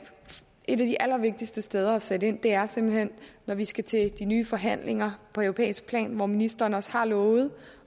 et af de allervigtigste steder at sætte ind er simpelt hen når vi skal til de nye forhandlinger på europæisk plan hvor ministeren også har lovet